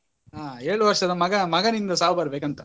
ಹಾ ಏಳು ವರ್ಷದ ಮಗ ಮಗನಿಂದ ಸಾವು ಬರ್ಬೇಕಂತ.